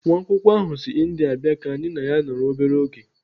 Nwa akwụkwọ ahụ si India bịara ka anyị na ya nọrọ obere oge.